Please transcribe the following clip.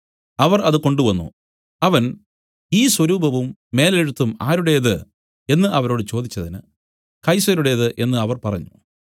അവർ അത് കൊണ്ടുവന്നു അവൻ ഈ സ്വരൂപവും മേലെഴുത്തും ആരുടേത് എന്നു അവരോട് ചോദിച്ചതിന് കൈസരുടേത് എന്നു അവർ പറഞ്ഞു